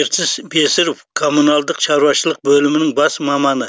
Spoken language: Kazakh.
ертіс бесіров коммуналдық шаруашылық бөлімінің бас маманы